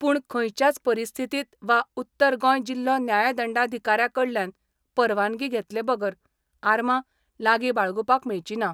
पूण खंयच्याच परिस्थितीत वा उत्तर गोंय जिल्हो न्यायदंडाधिकार्याकडल्यान परवानगी घेतले बगर आर्मां लागी बाळगूपाक मेळची ना.